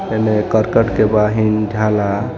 एने करकट के बाहिं ढाला